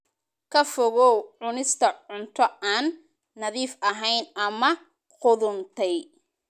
Ka fogow cunista cunto aan nadiif ahayn ama qudhuntay.